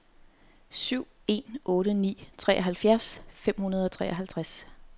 syv en otte ni treoghalvfjerds fem hundrede og treoghalvtreds